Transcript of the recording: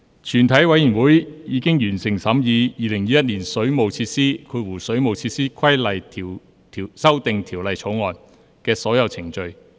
全體委員會已完成審議《2021年水務設施條例草案》的所有程序。